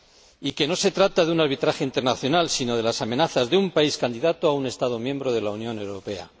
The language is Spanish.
y que no se trata de un arbitraje internacional, sino de las amenazas de un país candidato a un Estado miembro de la Unión Europea.